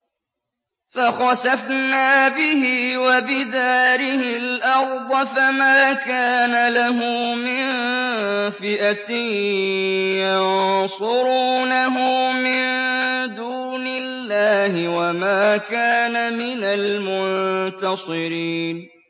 فَخَسَفْنَا بِهِ وَبِدَارِهِ الْأَرْضَ فَمَا كَانَ لَهُ مِن فِئَةٍ يَنصُرُونَهُ مِن دُونِ اللَّهِ وَمَا كَانَ مِنَ الْمُنتَصِرِينَ